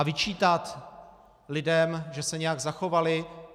A vyčítat lidem, že se nějak zachovali?